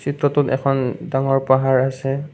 চিত্ৰটোত এখন ডাঙৰ পাহাৰ আছে।